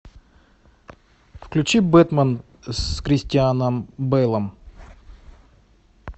включи бэтмен с кристианом бэлом